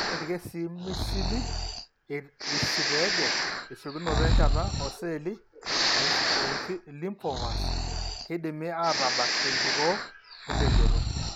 Ore irkesii misili esiteege esiokinoto enchata ooceelli elymphomas keidimi aatabak tenkikoo empejoto.